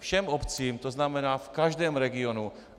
Všem obcím, to znamená v každém regionu.